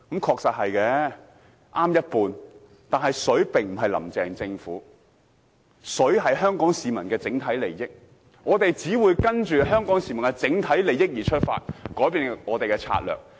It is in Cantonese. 他只說對一半，但水並非指"林鄭"政府，而是香港市民的整體利益，我們只會跟隨香港市民的整體利益而出發，改變我們的策略。